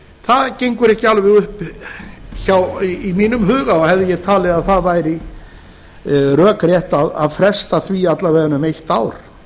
það gengur ekki alveg upp í mínum huga og bæði ég talið að það væri rökrétt að fresta því alla vega um eitt ár